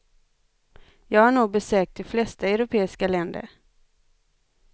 Jag har nog besökt det flesta europeiska länder.